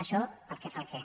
això pel que fa al què